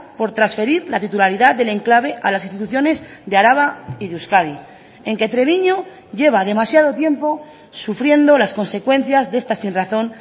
por transferir la titularidad del enclave a las instituciones de araba y de euskadi en que treviño lleva demasiado tiempo sufriendo las consecuencias de esta sinrazón